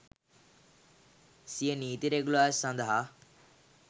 සිය නීති රෙගුලාසි සඳහා